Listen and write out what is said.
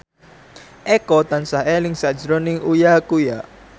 Eko tansah eling sakjroning Uya Kuya